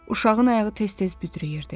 Uşağın ayağı tez-tez büdrəyirdi.